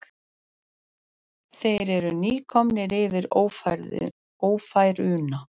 Þeir eru nýkomnir yfir Ófæruna.